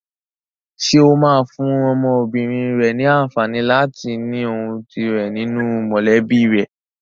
Ṣé o máa fún ọmọbìnrin rẹ ní àǹfààní láti ní ohùn tirẹ̀ nínú mọ̀lẹ́bí rẹ?